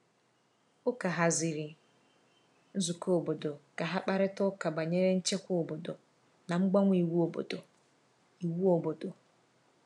Ụka haziri nzukọ obodo ka ha kparịta ụka banyere nchekwa obodo na mgbanwe iwu obodo. iwu obodo.